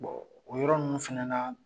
o yɔrɔ ninnu fana na.